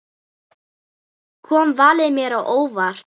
Kom valið mér á óvart?